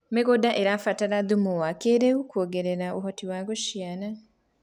mĩgũnda irabatra thumu wa kĩiriu kuongerera uhoti wa guciara